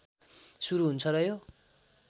सुरु हुन्छ र यो